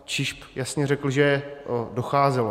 ČIŽP jasně řekla, že docházelo.